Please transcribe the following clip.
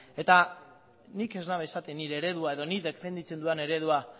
eta nik ez dut esaten nire eredua edo nik defendatzen dudan eredua